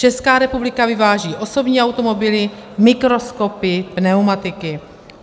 Česká republika vyváží osobní automobily, mikroskopy, pneumatiky.